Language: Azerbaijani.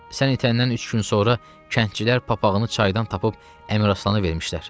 Sən itəndən üç gün sonra kəndçilər papağını çaydan tapıb Əmir Aslana vermişlər.